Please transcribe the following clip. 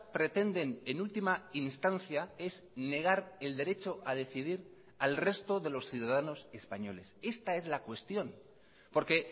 pretenden en última instancia es negar el derecho a decidir al resto de los ciudadanos españoles esta es la cuestión porque